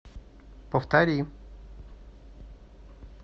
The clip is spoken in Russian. повтори